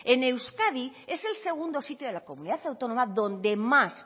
en euskadi es el segundo sitio en la comunidad autónoma donde más